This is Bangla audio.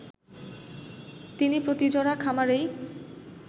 তিনি প্রতি জোড়া খামারেই